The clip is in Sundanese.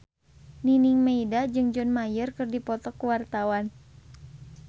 Nining Meida jeung John Mayer keur dipoto ku wartawan